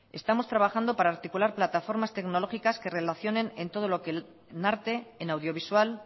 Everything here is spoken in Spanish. estamos trabajando para articular plataformas tecnológicas que relacionen en todo lo que en arte en audiovisual